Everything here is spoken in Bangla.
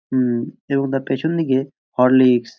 হুমম এবং তার পিছন দিকে হরলিক্স।